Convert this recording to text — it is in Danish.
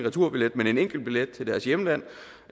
en enkeltbillet til deres hjemland